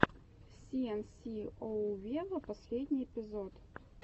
си эн си оу вево последний эпизод